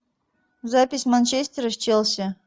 запись манчестера с челси